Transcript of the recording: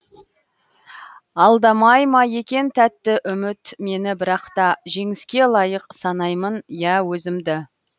алдамай ма екен тәтті үміт мені бірақта жеңіске лайық санаймын иә өзімді